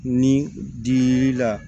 Ni dili la